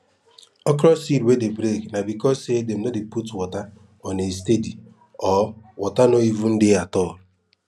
okro seed wey dey break na becos say dem no dey put water on a steady or water no even dey at all